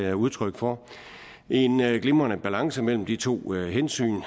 er udtryk for en glimrende balance mellem de to hensyn